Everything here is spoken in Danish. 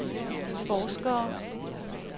forskere